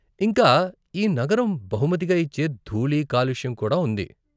ఇంకా, ఈ నగరం బహుమతిగా ఇచ్చే ధూళి, కాలుష్యం కూడా ఉంది.